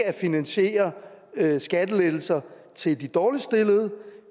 at finansiere skattelettelser til de dårligt stillede